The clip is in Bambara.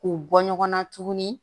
K'u bɔ ɲɔgɔn na tuguni